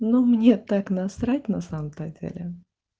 но мне так насрать на самом то деле